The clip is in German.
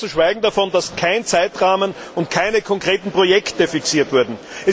Ganz zu schweigen davon, dass kein Zeitrahmen und keine konkreten Projekte fixiert wurden.